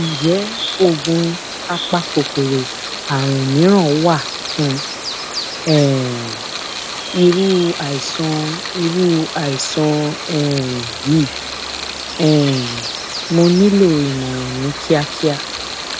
ǹjẹ oògùn apakòkòrò àrùn mìíràn wà fún um irú àìsàn irú àìsàn um yìí um mo nílò ìmọràn ní kíákíá